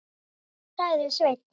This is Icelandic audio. sagði Sveinn.